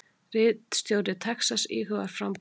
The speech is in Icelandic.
Ríkisstjóri Texas íhugar framboð